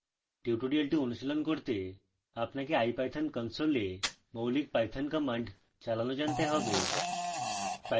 tutorial অনুশীলন করতে আপনাকে ipython কনসোলে মৌলিক পাইথন কমান্ড চালানো জানতে হবে